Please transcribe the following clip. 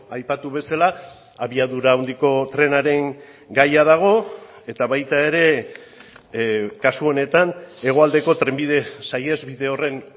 aipatu bezala abiadura handiko trenaren gaia dago eta baita ere kasu honetan hegoaldeko trenbide saihesbide horren